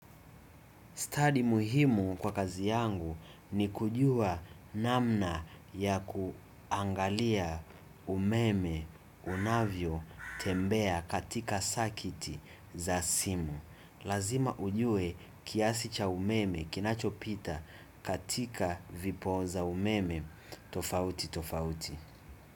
Study muhimu kwa kazi yangu ni kujua namna ya kuangalia umeme unavyo tembea katika sakiti za simu. Lazima ujue kiasi cha umeme kinachopita katika vipoza umeme tofauti tofauti.